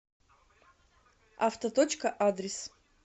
автоточка адрес